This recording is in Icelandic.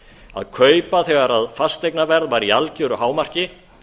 að kaupa þegar fasteignaverð var í algeru hámarki